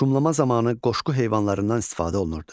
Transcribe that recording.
Şumlama zamanı qoşqu heyvanlarından istifadə olunurdu.